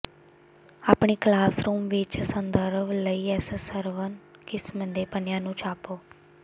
ਆਪਣੀ ਕਲਾਸਰੂਮ ਵਿੱਚ ਸੰਦਰਭ ਲਈ ਇਸ ਸਰਵਨ ਕਿਸਮ ਦੇ ਪੰਨਿਆਂ ਨੂੰ ਛਾਪੋ